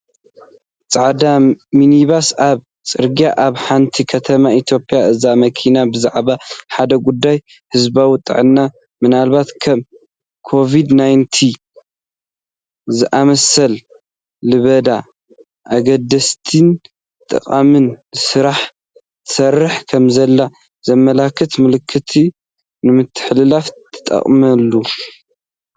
ጻዕዳ ሚኒባስ ኣብ ጽርግያ ኣብ ሓንቲ ከተማ ኢትዮጵያ። እዛ መኪና ብዛዕባ ሓደ ጉዳይ ህዝባዊ ጥዕና (ምናልባት ከም ኮቪድ-19 ዝኣመሰለ ለበዳ)፡ ኣገዳሲን ጠቓምን ስራሕ ትሰርሕ ከምዘላ ዘመልክት መልእኽቲ ንምትሕልላፍ ትጥቀመሉ።